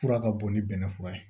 Fura ka bon ni bɛnɛ fura ye